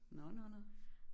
Nåh nåh nåh